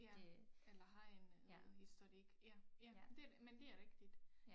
Ja eller har en noget historik ja ja det men det er rigtigt